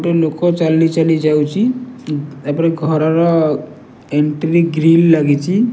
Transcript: ଗୋଟେ ଲୋକ ଚାଲି ଚାଲି ଯାଉଛି ତାପରେ ଘରର ଏନ୍ଟ୍ରି ଗ୍ରିଲ ଲାଗିଛି।